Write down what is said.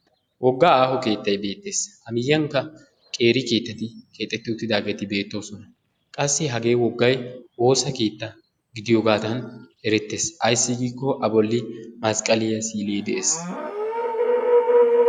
woga aaho keettay beetees, a miyiyankka qeeri keettati beetoososna. qassi woga keettay woosa keetta malatees. ikka woosa keetta gidiyooge tawu eretees, ayssi giiko a boli masqalliya si'ilee de'ees.